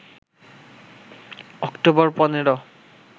October ১৫